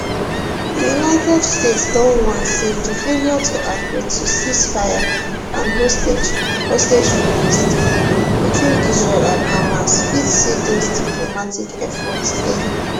di united states don warn say di failure to agree to ceasefireand hostage hostage release deal between israel and hamas fit see those diplomatic efforts fail